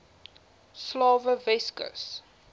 slawe weskus